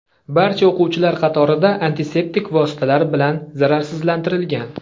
Barcha o‘quvchilar qatorida antiseptik vositalar bilan zararsizlantirilgan.